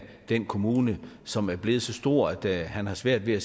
den kommune som er blevet så stor at han har svært ved